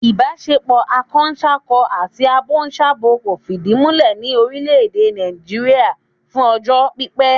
Ìbáṣepọ̀ akọsákọ àti abosábo kò fìdí múlẹ̀ ní orílẹ̀ èdè Nàìjíríà fún ọjọ́ pípẹ́